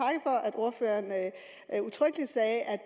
ordføreren udtrykkelig sagde at